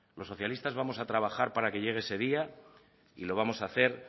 los socialistas vamos a trabajar para que llegue ese día y lo vamos a hacer